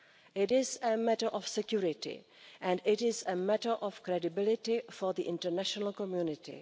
It is a matter of security and it is a matter of credibility for the international community.